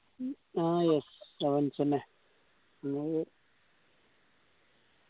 ആ yes. sevens എന്നെ